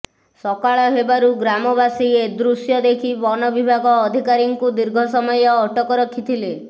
ସକାଳ ହେବାରୁ ଗ୍ରାମ ବାସି ଏଦୃଶ୍ୟ ଦେଖି ବନବିଭାଗ ଅଧିକାରୀ ଙ୍କୁ ଦୀର୍ଘ ସମୟ ଅଟକ ରଖିଥିଲେ